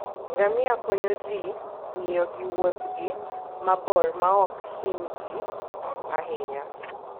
Ngamia konyo ji ng'iyo gi Wuothgi mabor maok hinygi ahinya.